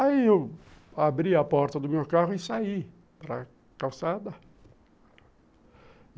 Aí eu abri a porta do meu carro e saí para calçada.